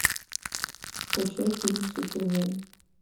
скачай фильм супернянь